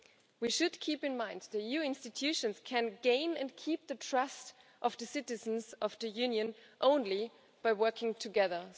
We should bear in mind that the EU institutions can gain and keep the trust of the citizens of the Union only by working together.